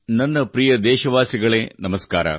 ನನ್ನ ಪ್ರಿಯ ದೇಶವಾಸಿಗಳೇ ನಮಸ್ಕಾರ